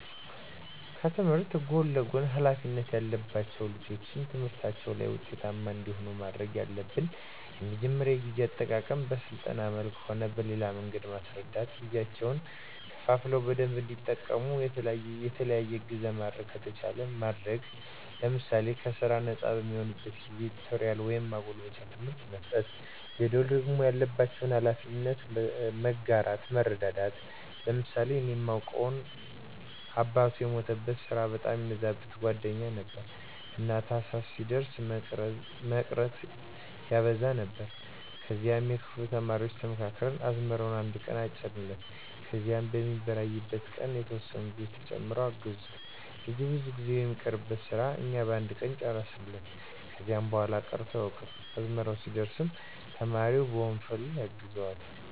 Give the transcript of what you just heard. ከትምህርት ጎን ለጎን ሀላፊነት ያለባቸው ልጆች ትምህርታቸው ላይ ውጤታማ እንዲሆኑ ማድረግ ያለብን የመጀመሪያው የጊዜ አጠቃቀመን በስልጠና መልክም ሆነ በሌላ መንገድ መስረዳት ጊዜያቸውን ከፋፍለው በደንብ እንዲጠቀሙ፣ የተለየ እገዛ ማድረግ ከተቻለ ማድረግ ለምሳሌ ከስራ ነጻ በሚሆኑበት ጊዜ ቲቶሪያል ወይም ማጎልበቻ ትምህርት መስጠት። ሌላው ደግሞ ያለባቸውን ሀላፊነት መጋራት መረዳዳት። ለምሳሌ እኔ ማውቀው አባቱ የሞተበት ስራ በጣም የሚበዛበት ጓደኛችን ነበረ። እና ታህሳስ ሲደርስ መቅረት ያበዛ ነበር ከዚያ የክፍሉ ተማሪዎች ተመካክረን አዝመራውን አነድ ቀን አጨድንለት ከዚያ የሚበራይበት ቀንም የተወሰኑ ልጆች ተጨምረው አገዙት ልጁ ብዙ ቀን የሚቀርበትን ስራ እኛ በአንድ ቀን ጨረስንለት። ከዚያ በኋላ ቀርቶ አያውቅም። አዝመራ ሲደርስም ተማሪው በወንፈል ያግዘዋል።